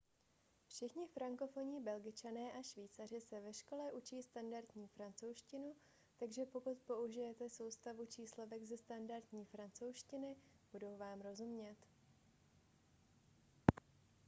všichni frankofonní belgičané a švýcaři se ve škole učí standardní francouzštinu takže pokud použijete soustavu číslovek ze standardní francouzštiny budou vám rozumět